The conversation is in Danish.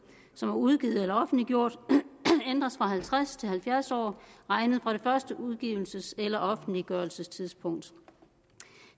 som er udgivet eller offentliggjort ændres fra halvtreds til halvfjerds år regnet fra det første udgivelses eller offentliggørelsestidspunkt